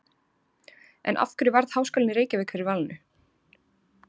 En af hverju varð Háskólinn í Reykjavík fyrir valinu?